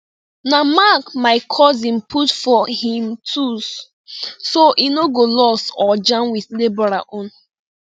na mark my cousin put for him tools so e no go lost or jam with labourer own